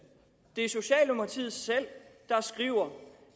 det er socialdemokratiet selv der skriver